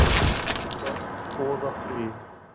Börn boða frið